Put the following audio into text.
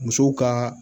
Musow ka